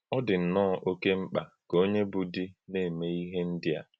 Ọ̀ dị nnọọ́ òké mkpa ka onye bụ́ di na-eme ihe ndí a.